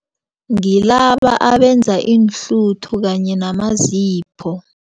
Ngilaba abenza iinhluthu kanye namazipho.